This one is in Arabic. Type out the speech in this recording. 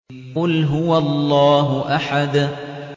قُلْ هُوَ اللَّهُ أَحَدٌ